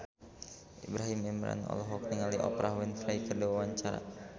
Ibrahim Imran olohok ningali Oprah Winfrey keur diwawancara